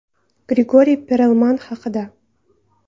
Grigoriy Perelman haqida.